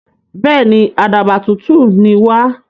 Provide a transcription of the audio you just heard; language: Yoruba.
Bẹ́èni, àdàbà tutù ní wà.